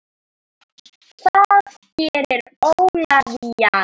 Það gerir Ólafía.